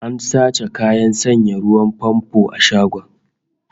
An sace kayan sanya ruwan famfo a shagon